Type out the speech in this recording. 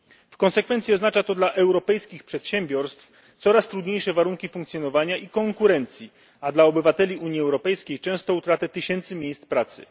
W konsekwencji oznacza to dla europejskich przedsiębiorstw coraz trudniejsze warunki funkcjonowania i konkurencji, a dla obywateli Unii Europejskiej często utratę tysięcy miejsc pracy.